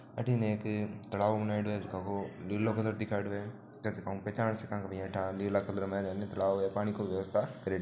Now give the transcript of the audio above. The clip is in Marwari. अठीने एक तलाव बणायोडो है जीका लीलो कलर दिखायोडो है जकाउ पहेचान सका नीला कलर में तलाव है पानी को व्यवस्था करियोडी है।